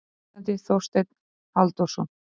Þýðandi Þorsteinn Halldórsson.